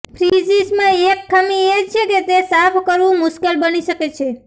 ફ્રીઝિસમાં એક ખામી એ છે કે તે સાફ કરવું મુશ્કેલ બની શકે છે